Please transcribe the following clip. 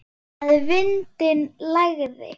Að vindinn lægði.